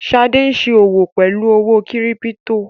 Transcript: Ṣadé ń ṣe òwò pelu owó kírípító.